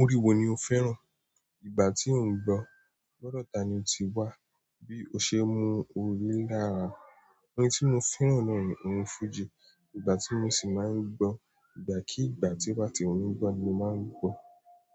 Orin wo ni o fẹ́ràn? Ìgbà tí mo ń gbọ́, gbọ́dọ̀ ta ni ó ti wá, bí o ṣe mú orin lára. Orin tí mo fẹ́ràn náà ni orin fújì. Ìgbà tí mo sì máa ń gbọ́, ìgbàkíìgbà tí mo bá fẹ́ gbọ́ ni màá ń gbọ́.